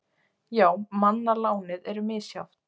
Já, manna lánið er misjafnt.